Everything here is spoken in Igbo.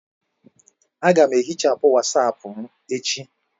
Aga m ehichapụ Wasapu m echi..